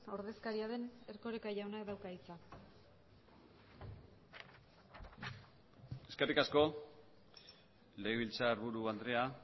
ordezkaria den erkoreka jaunak dauka hitza eskerrik asko legebiltzarburu andrea